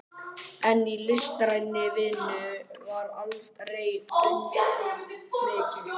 En í listrænni vinnu var aldrei undan vikið.